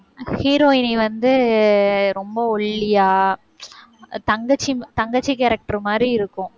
heroine வந்து ரொம்ப ஒல்லியா தங்கச்சி தங்கச்சி character மாதிரி இருக்கும்.